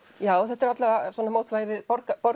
já þetta er alla vega svona mótvægi við